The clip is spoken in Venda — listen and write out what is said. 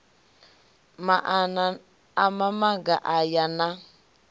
maana a mamaga aya na